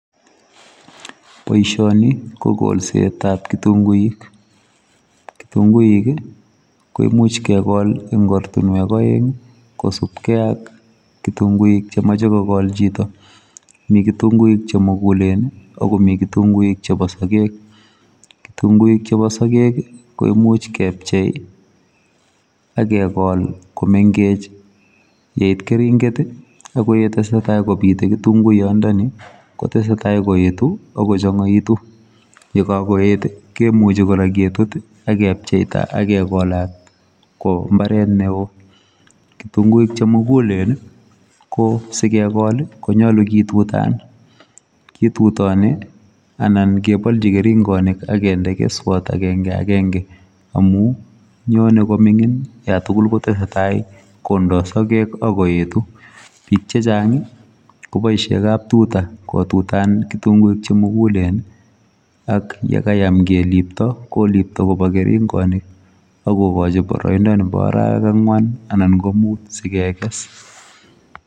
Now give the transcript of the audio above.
Boisioni ko kolset ab kitunguuik, kitunguuik ii koimuuch kegol eng ortinweek aeng ii kosupkei ak kitunguuik che machei kogol chitoo kitunguuik che muguleennii akomi kitunguuik che bo sageg kitunguuik chebo sageg ii koimuuch kepchei ii age kol ko mengech yeit keringeet, kotesetai koetu ako changaitu ye kako eet agecheptai age kolaat ko mbaret ne oo , kitunguuik che muguleennii ii sikekol ii konyaluu kitutaan kotutani anan kebaljii keringanik agendee keswaat agengee agenge amuun nyonei komingiit yaan tuguul ko tesetai kindaa sageg ii ak koetuu biik chechaang kobaisheen kaptutaa kobaisheen ketutanen ak ii ye kayam kiliptaa ko liptaa kobaa keringanit kogochi baraindaa nebo araweek angween anan ko muut.